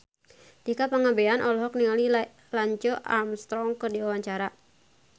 Tika Pangabean olohok ningali Lance Armstrong keur diwawancara